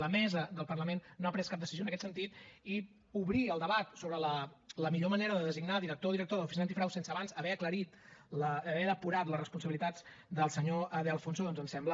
la mesa del parlament no ha pres cap decisió en aquest sentit i obrir el debat sobre la millor manera de designar director o directora de l’oficina antifrau sense abans haver aclarit haver depurat les responsabilitats del senyor de alfonso doncs ens sembla